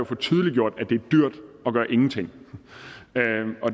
få tydeliggjort at det er dyrt at gøre ingenting